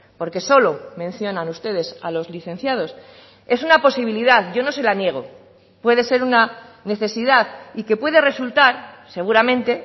porque solo mencionan ustedes a los licenciados es una posibilidad yo no se la niego puede ser una necesidad y que puede resultar seguramente